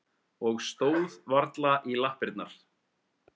Og stóð varla í lappirnar.